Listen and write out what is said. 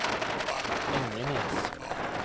Engenes